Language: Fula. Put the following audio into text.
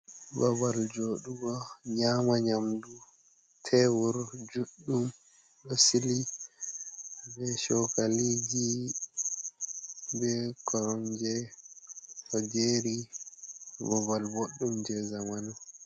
Babal jooɗugo nyaama nyaamdu, tebur juɗɗum ɗo sili be chokaliji be koromje ɗo jeeri babal bodɗum jee zamanu.